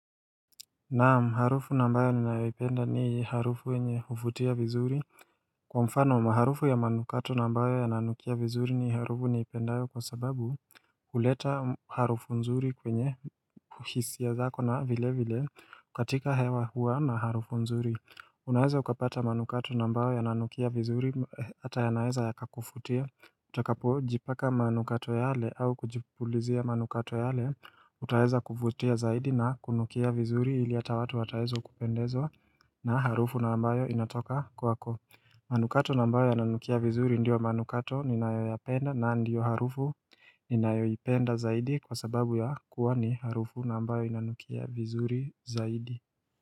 Naam, harufu na ambayo ninayoipenda ni harufu enye huvutia vizuri. Kwa mfano, harufu ya manukato na ambayo yananukia vizuri ni harufu niipendayo kwa sababu huleta harufu nzuri kwenye hisia zako na vile vile katika hewa huwa na harufu nzuri. Unaweza ukapata manukato na ambayo ya nanukia vizuri hata yanaweza yakakufutia. Utakapojipaka manukato yale au kujipulizia manukato yale, utaweza kuvutia zaidi na kunukia vizuri ili hata watu wataweza kupendezwa na harufu na ambayo inatoka kwako. Manukato na ambayo yananukia vizuri ndio manukato ninayoyapenda na ndio harufu ninayoipenda zaidi kwa sababu ya kuwa ni harufu na ambayo inanukia vizuri zaidi.